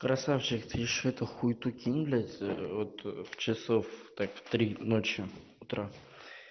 красавчик ты ещё эту хуету кинь блядь вот в часов так три ночи утра